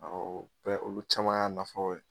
Awɔ o bɛɛ olu caman y'a nafaw ye